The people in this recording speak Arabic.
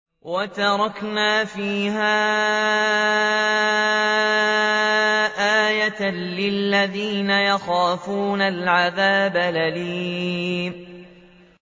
وَتَرَكْنَا فِيهَا آيَةً لِّلَّذِينَ يَخَافُونَ الْعَذَابَ الْأَلِيمَ